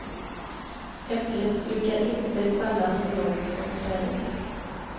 Äpplet brukar inte falla så långt från trädet.